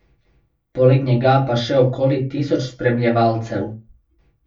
Poleg njega pa še okoli tisoč spremljevalcev.